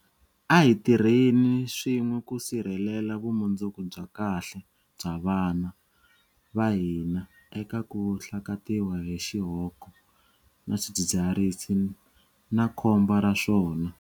A hi tirheni swin'we ku sirhelela vumundzuku bya kahle bya vana va hina eka ku hlakatiwa hi xihoko na swidzidziharisi na khombo ra swona.